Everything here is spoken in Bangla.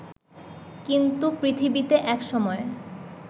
কিন্তু পৃথিবীতে একসময়